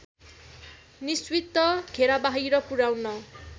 निश्चित घेराबाहिर पुर्‍याउन